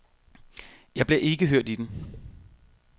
Jeg bliver ikke hørt i den.